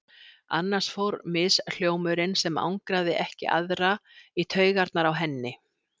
Annars fór mishljómurinn, sem angraði ekki aðra, í taugarnar á henni.